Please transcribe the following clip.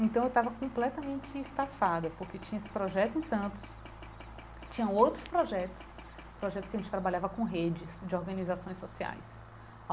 Então eu estava completamente estafada porque tinha esse projeto em Santos, tinha outros projetos, projetos que a gente trabalhava com redes de organizações sociais.